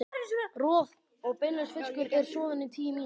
Roð- og beinlaus fiskur er soðinn í tíu mínútur.